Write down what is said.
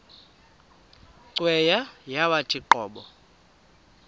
cweya yawathi qobo